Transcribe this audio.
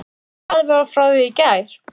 Erla: En enginn látinn fara út af þessu máli?